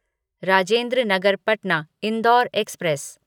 Rajendra Nagar Patna Indore express